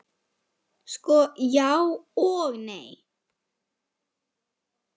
Sko, já og nei.